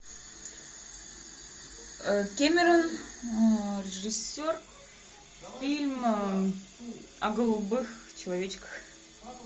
кэмерон режиссер фильм о голубых человечках